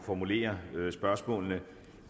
formulere spørgsmålene